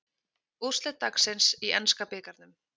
Úrslit dagsins í enska bikarnum